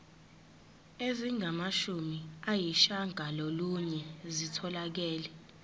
ezingamashumi ayishiyagalolunye zitholakele